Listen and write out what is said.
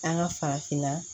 An ka farafinna